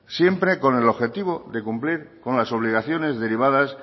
siempre con el objetivo de cumplir con las obligaciones derivadas